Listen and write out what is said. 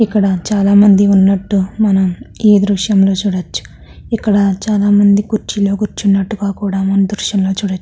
ఇక్కడ చాల మంది ఉన్నట్టు మనం ఈ దృశ్యం లో చూడొచ్చు ఇక్కడ చాల మంది కుర్చీలో కుర్చునట్టు కూడామనం ఈ దృశ్యం లో చూడొచ్చు --